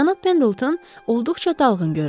Jon Pendleton olduqca dalğın görünürdü.